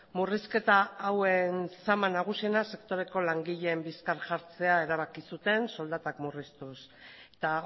murrizketa hauen zama nagusiena sektoreko langileen bizkar jartzea erabaki zuten soldatak murriztuz eta